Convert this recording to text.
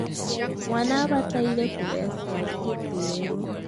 mwana abataire kũhe aciari gĩtĩĩo